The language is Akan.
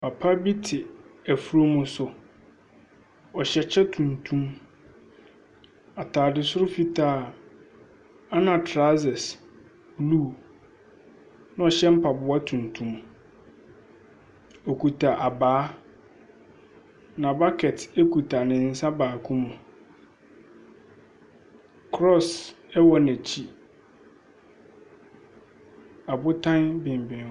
Papa bi te efurum so. ɔhyɛ kyɛ tuntum, ataade soro fitaa. Ɛna trawsɛs blu. Ɛna ɔhyɛ mpaboa tuntum. Okuta abaa. Na bakɛt ekuta ne nsa baako mu. Krɔs ɛwɔ n'akyi. Abotan benbɛn wɔn.